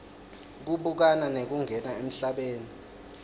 kubukana nekungena emhlabeni